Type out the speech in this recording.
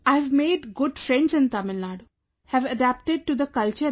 I have made good friends in Tamil Nadu... have adapted to the culture there